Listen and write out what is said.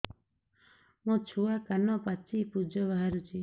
ମୋ ଛୁଆ କାନ ପାଚି ପୂଜ ବାହାରୁଚି